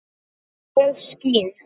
ég skín